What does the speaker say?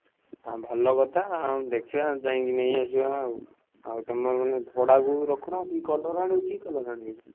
ଅ ଭଲ କଥା ଆଉ ଦେଖିବା ଯାଇକି ନେଇଆସିବା ଆଉ ଆଉ ତମେ ମାନେ ଭଡ଼ାକୁ ରଖୁନ colour ମାନେ କି colour ଆଣିବ?